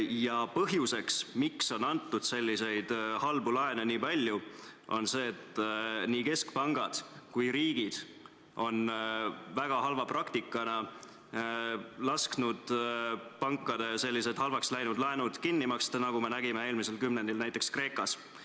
Ja põhjus, miks on antud selliseid halbu laene nii palju, on see, et nii keskpangad kui riigid on väga halva praktikana lasknud pankadel sellised halvaks läinud laenud kinni maksta, nagu me nägime eelmisel kümnendil näiteks Kreekas.